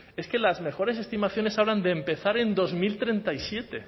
es que las mejores estimaciones hablan de empezar en dos mil treinta y siete